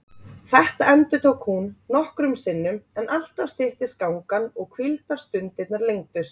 Þetta endurtók hún nokkrum sinnum en alltaf styttist gangan og hvíldarstundirnar lengdust.